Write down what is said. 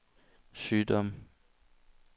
sygdomme